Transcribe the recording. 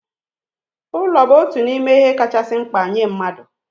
Ulo bụ otu n'ime ihe kachasị mkpa nye mmadụ